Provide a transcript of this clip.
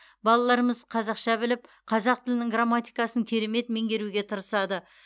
балаларымыз қазақша біліп қазақ тілінің грамматикасын керемет меңгеруге тырысады